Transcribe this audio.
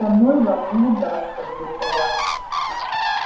со мной вам не удастся блефовать